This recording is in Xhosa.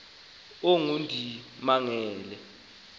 ongundimangele